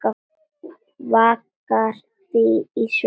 Vaggar því í svefn.